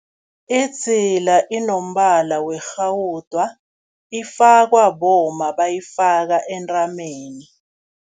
Idzila inombala werhawuda, ifakwa bomma bayifaka entameni.